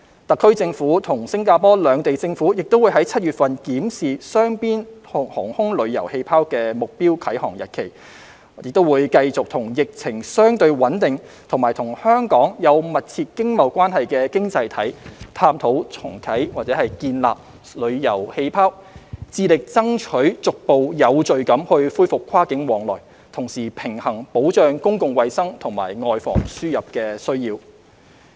特區政府與新加坡兩地政府亦會於7月份檢視雙邊"航空旅遊氣泡"的目標啟航日期，亦會繼續與疫情相對穩定和與香港有密切經貿關係的經濟體探討建立"旅遊氣泡"，致力爭取逐步有序地恢復跨境往來，同時平衡保障公共衞生和"外防輸入"的需要。